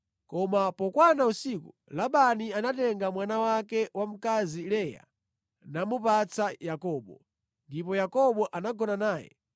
Koma pokwana usiku, Labani anatenga mwana wake wamkazi Leya namupatsa Yakobo, ndipo Yakobo anagona naye.